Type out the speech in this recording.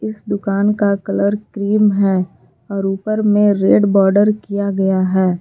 इस दुकान का कलर क्रीम है और ऊपर में रेड बॉर्डर कीया गया है।